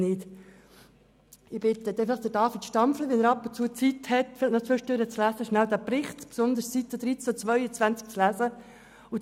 Ich bitte David Stampfli, wenn er Zeit findet, diesen Bericht zu lesen, insbesondere die Seiten 13 und 22.